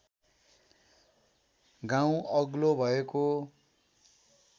गाउँ अग्लो भएको